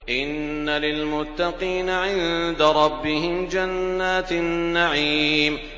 إِنَّ لِلْمُتَّقِينَ عِندَ رَبِّهِمْ جَنَّاتِ النَّعِيمِ